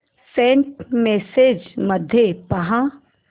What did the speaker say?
Saint messages मध्ये पहा